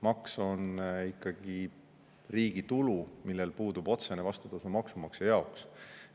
Maks on ikkagi riigi tulu, millel puudub otsene vastutasu maksumaksja jaoks.